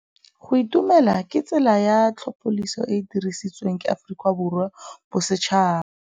Go itumela ke tsela ya tlhapolisô e e dirisitsweng ke Aforika Borwa ya Bosetšhaba.